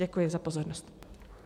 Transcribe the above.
Děkuji za pozornost.